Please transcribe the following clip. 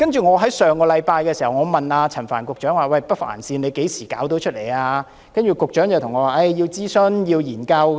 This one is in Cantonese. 我在上星期問陳帆局長何時能夠落實興建北環線，局長便說要諮詢和研究。